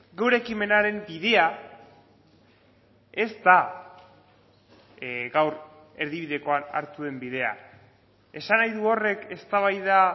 gure ekimenaren bidea ez da gaur erdibidekoan hartu den bidea esan nahi du horrek eztabaida